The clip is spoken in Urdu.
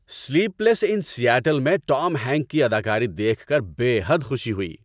سلیپ لیس اِن سیئٹل میں ٹام ہینک کی اداکاری دیکھ کر بے حد خوشی ہوئی۔